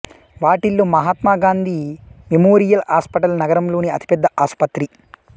వాటిల్లో Mahatma Gandhi memorial hospital నగరంలోని అతిపెద్ద ఆసుపత్రి